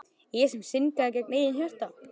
Ég sem syndgaði gegn eigin hjarta.